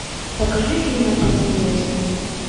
покажи фильм отец невесты